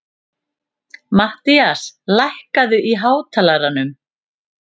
Mattías, lækkaðu í hátalaranum.